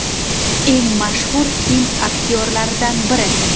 Eng mashhur hind aktyorlaridan biri.